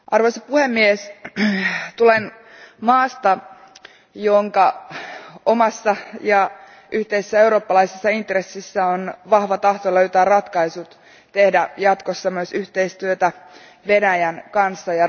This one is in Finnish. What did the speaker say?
Arvoisa puhemies, tulen maasta, jonka omassa ja yhteisessä eurooppalaisessa intressissä on vahva tahto löytää ratkaisu, jotta voimme tehdä jatkossa myös yhteistyötä Venäjän kanssa.